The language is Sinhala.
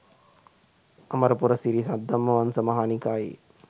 අමරපුර සිරි සද්ධම්මවංශ මහා නිකායේ